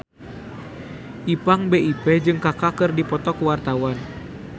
Ipank BIP jeung Kaka keur dipoto ku wartawan